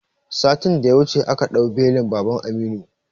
Satin da ya wuce aka ɗau belin baban Aminu